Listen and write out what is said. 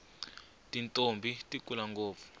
tintombhi ti kula ngopfu